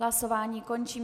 Hlasování končím.